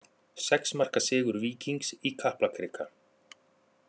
Sex marka sigur Víkings í Kaplakrika